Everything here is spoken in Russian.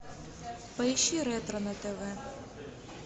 поищи ретро на тв